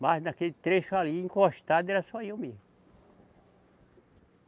Mas naquele trecho ali, encostado, era só eu mesmo.